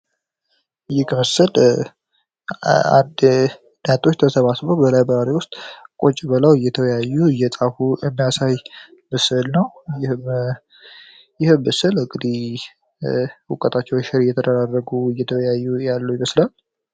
የምስል ተማሪዎች በላይብረሪ ውስጥ ቁጭ ብለው በላይ ውስጥ እየተወያዩ እያጠኑ የሚያሳይ ምስል ነው ይህ ምስል እንግዲህ እውቀቶችን እየተወያዩ ሼር እያደረጉ ያሉ ይመስላል።